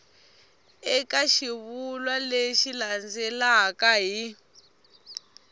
eka xivulwa lexi landzelaka hi